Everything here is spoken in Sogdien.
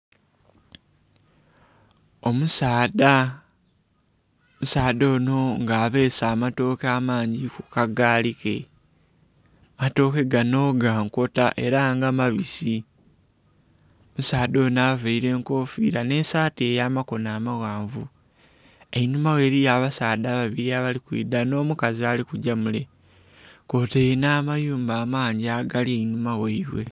Omusaadha, omusaadha onho nga abeese amatooke amangi ku kagaali ke. Amatooke gano ga nkota ela nga mabisi. Omusaadha onho availe enkofiila nh'esaati ey'amakono amaghanvu. Einhuma ghe eliyo abasaadha babili abali kwidha nh'omukazi ali kugya mule, kwotaile nh'amayumba amangi agali eihuma ghaibwe.